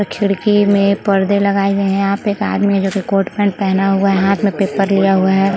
और खिड़की में पर्दे लगाए गए है। यहाँ पर एक आदमी जिसने कोट पैंट पहना हुआ है। हाथ में पेपर लिया हुआ है।